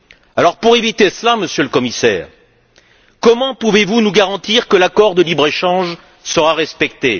Alors, pour éviter cela, Monsieur le Commissaire, comment pouvez vous nous garantir que l'accord de libre échange sera respecté?